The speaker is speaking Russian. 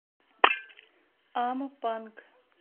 ампанг